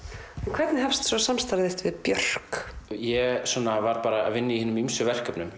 hvernig hefst svo samstarf þitt við Björk ég var að vinna í hinum ýmsu verkefnum